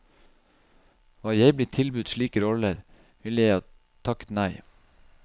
Var jeg blitt tilbudt slike roller, ville jeg takket nei.